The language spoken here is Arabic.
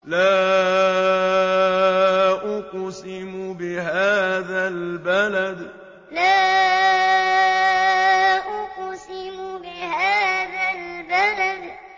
لَا أُقْسِمُ بِهَٰذَا الْبَلَدِ لَا أُقْسِمُ بِهَٰذَا الْبَلَدِ